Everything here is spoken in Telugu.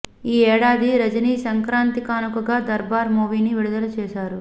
ఈ ఏడాది రజిని సంక్రాతి కానుకగా దర్బార్ మూవీని విడుదల చేశారు